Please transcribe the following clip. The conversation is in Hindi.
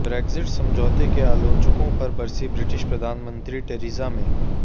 ब्रेक्जिट समझौते के आलोचकों पर बरसीं ब्रिटिश प्रधानमंत्री टेरिजा मे